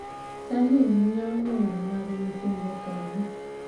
Salim ng�iewo lewni mag nyithinde kanye?